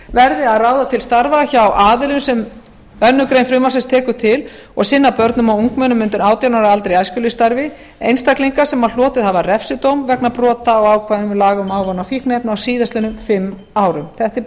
verði að ráða til starfa hjá aðilum sem önnur grein frumvarpsins tekur til og sinna börnum og ungmennum undir átján ára aldri í æskulýðsstarfi einstaklinga sem hlotið hafa refsidóm vegna brota á ákvæðum laga um ávana og fíkniefni á síðastliðnum fimm árum þetta